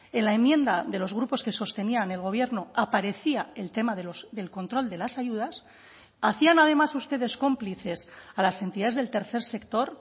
en la enmienda de los grupos que sostenían el gobierno aparecía el tema del control de las ayudas hacían además ustedes cómplices a las entidades del tercer sector